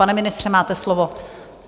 Pane ministře, máte slovo.